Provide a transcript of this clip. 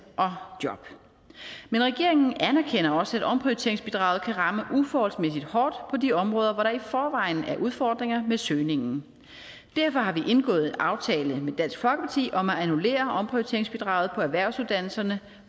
og job men regeringen anerkender også at omprioriteringsbidraget kan ramme uforholdsmæssigt hårdt på de områder hvor der i forvejen er udfordringer med søgningen derfor har vi indgået en aftale med dansk folkeparti om at annullere omprioriteringsbidraget på erhvervsuddannelserne